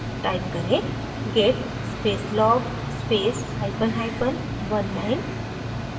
type करें: git space log space hyphen hyphen oneline